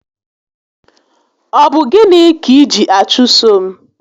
Ọ bụ gịnị kà iji achụso m?